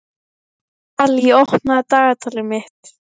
Dalí, opnaðu dagatalið mitt.